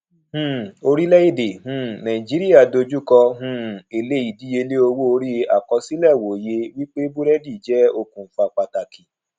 um orílèèdè um nàìjíríà dojú kọ um èle ìdíyelé owó orí àkọsílẹ wòye wípé burẹdi jẹ okùnfà pàtàkì